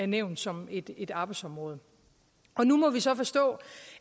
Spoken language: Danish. nævnt som et et arbejdsområde nu må vi så forstå